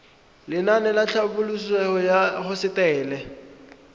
lenaane la tlhabololosewa ya hosetele